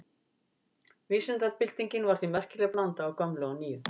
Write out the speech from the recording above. Vísindabyltingin var því merkileg blanda af gömlu og nýju.